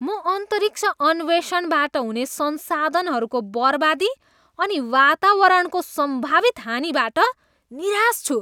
म अन्तरिक्ष अन्वेषणबाट हुने संसाधनहरूको बर्बादी अनि वातावरणको सम्भावित हानिबाट निराश छु।